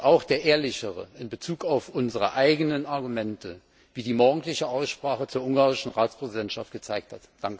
Auch der ehrlichere in Bezug auf unsere eigenen Argumente, wie die morgendliche Aussprache zur ungarischen Ratspräsidentschaft gezeigt hat.